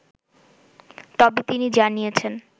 তবে তিনি জানিয়েছেন